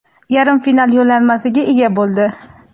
yarim final yo‘llanmasiga ega bo‘ldi.